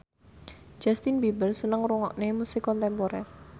Justin Beiber seneng ngrungokne musik kontemporer